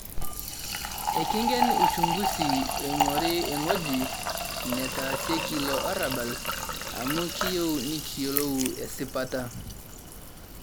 ekiingen ushunguzi oing'ori ewueji netaasieki ilo arabal, amu kiyieu nekiyiolou esipata